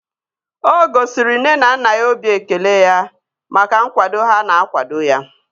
O gosiri nne na nna ya obi ekele ya maka nkwado ha na-akwado ya